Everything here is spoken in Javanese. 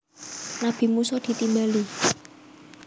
Nabi Musa ditimbali